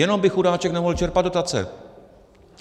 Jenom by chudáček nemohl čerpat dotace.